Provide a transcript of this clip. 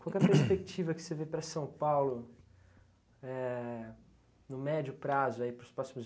Qual que é a perspectiva que você vê para São Paulo éh no médio prazo, para os próximos